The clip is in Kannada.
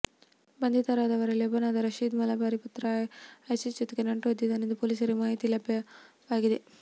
ಬಂಧಿತರಾದವರಲ್ಲಿ ಒಬ್ಬನಾದ ರಷೀದ್ ಮಲ್ಬಾರಿಯ ಪುತ್ರ ಐಸಿಸ್ ಜೊತೆಗೆ ನಂಟು ಹೊಂದಿದ್ದಾನೆ ಎಂಬ ಮಾಹಿತಿ ಪೊಲೀಸರಿಗೆ ಲಭ್ಯವಾಗಿದೆ